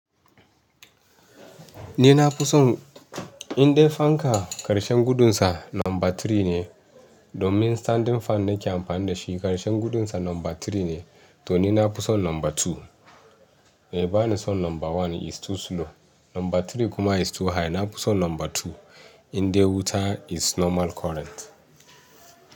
Ni na fi son in dai fanka karshen gudunsa lamba three ne domin standing fan nake amfani da shi. Karshen gudunsa lamba three ne to ni na fi son lamba two. Bai bani son lamba one is too slow, lamba three kuma is too high. Na fi son lamba two in dai wuta is normal current.